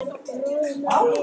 Það má hún bóka.